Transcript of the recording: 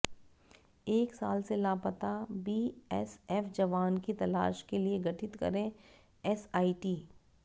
एक साल से लापता बीएसएफ जवान की तलाश के लिए गठित करें एसआइटी